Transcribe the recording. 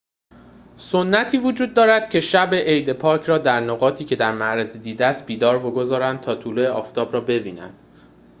سنتی وجود دارد که شب عید پاک را در نقاطی که در معرض دید است بیدار بگذرانند تا طلوع آفتاب را ببینند